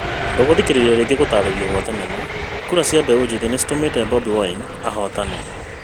Ndũngĩthikĩrĩria rĩngĩ gũtarĩrio gwa thenema, kura cia mbeũ njĩthi no citũme Bobi Wine ahotane